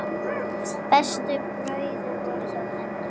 Bestu brauðin voru hjá henni.